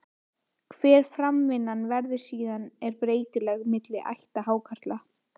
Hver framvindan verður síðan er breytileg milli ætta hákarla.